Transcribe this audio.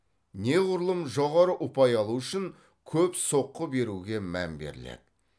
неғұрлым жоғары ұпай алу үшін көп соққы беруге мән беріледі